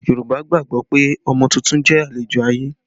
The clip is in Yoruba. Yorùbá gbàgbọ́ pé ọmọ tuntun jẹ́ àlejò ayé